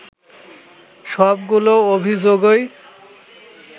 সবগুলো অভিযোগই